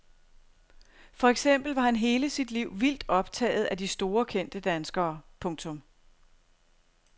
For eksempel var han hele sit liv vildt optaget af de store kendte danskere. punktum